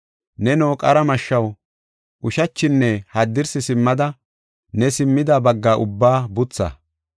Neno, qara mashshaw, ushachinne haddirsi simmida ne simmida bagga ubbaa butha.